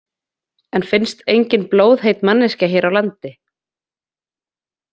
En finnst engin blóðheit manneskja hér á landi?